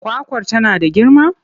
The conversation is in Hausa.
Kwakwar tana da girma?